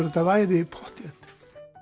þetta væri pottþétt